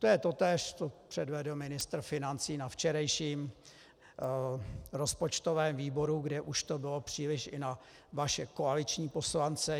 To je totéž, co předvedl ministr financí na včerejším rozpočtovém výboru, kdy už to bylo příliš i na vaše koaliční poslance.